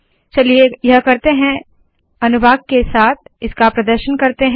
चलिए यह करते है अनुभाग के साथ इसका प्रदर्शन करते है